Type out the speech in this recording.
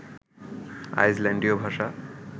আইসল্যান্ডীয় ভাষা